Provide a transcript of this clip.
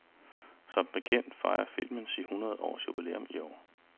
Som bekendt fejrer filmen sit hundrede års jubilæum i år.